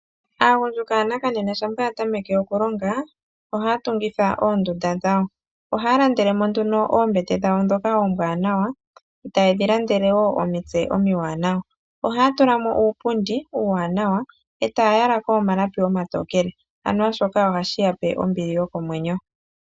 Aagundjuka yanakanena shampa ya tameke okulonga, ohaya tungitha oondunda dhawo. Ohaya landele mo nduno oombete dhawo ndhoka oombwanawa, taye dhi landele wo omitse omiwanawa. Ohaya tula mo uupundi uuwanawa, e taa yala ko omalapi omatokele. Anuwa shoka ohashi ya pe ombili yokomwenyo.